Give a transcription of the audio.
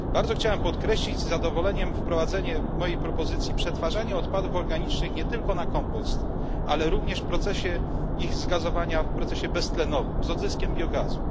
Chciałbym z zadowoleniem podkreślić wprowadzenie mojej propozycji przetwarzania odpadów organicznych nie tylko na kompost, ale również w procesie ich zgazowania, w procesie beztlenowym z odzyskiem biogazu.